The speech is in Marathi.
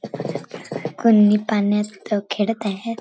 कुण्णी पाण्यात खेळत आहेत.